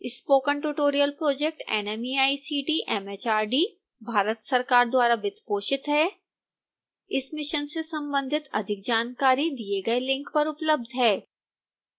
spoken tutorial project nmeict mhrd Bharat सरकार द्वारा वित्तपोषित है इस मिशन से संबंधित अधिक जानकारी दिए गए लिंक पर उपलब्ध है